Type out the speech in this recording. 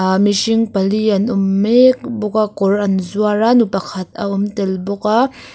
a mihring pali an awm mek bawk a kawr an zuar a nu pakhat a awm tel bawk a.